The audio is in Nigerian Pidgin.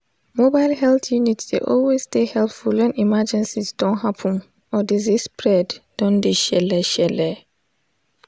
mobile health unit dey always dey helpful when emergencies don happen or disease spread don dey shelle shelle